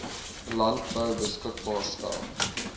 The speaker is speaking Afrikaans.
landbou beskikbaar stel